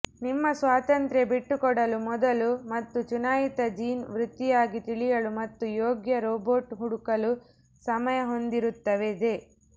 ನಿಮ್ಮ ಸ್ವಾತಂತ್ರ್ಯ ಬಿಟ್ಟುಕೊಡಲು ಮೊದಲು ಮತ್ತು ಚುನಾಯಿತ ಜೀನ್ ವೃತ್ತಿಯಾಗಿ ತಿಳಿಯಲು ಮತ್ತು ಯೋಗ್ಯ ರೋಬೋಟ್ ಹುಡುಕಲು ಸಮಯ ಹೊಂದಿರುತ್ತದೆ